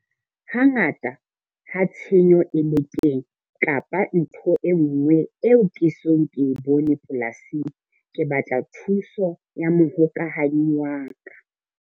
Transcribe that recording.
Hangata ha tshenyo e le teng kapa ntho e nngwe e eo ke esong ho e bone polasing, ke batla thuso ya mohokahanyi wa ka.